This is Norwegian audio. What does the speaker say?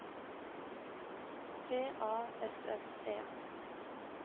P A S S E